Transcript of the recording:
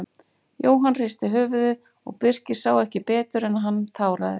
Jóhann hristi höfuðið og Birkir sá ekki betur en að hann táraðist.